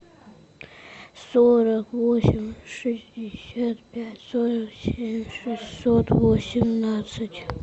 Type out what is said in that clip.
сорок восемь шестьдесят пять сорок семь шестьсот восемнадцать